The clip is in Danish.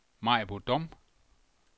Maribo Dom